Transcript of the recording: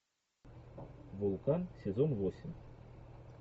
вулкан сезон восемь